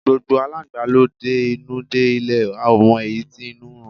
Gbogbo Aláǹgbá ló de inú dé lè a ò mọ èyí tí inú ń run.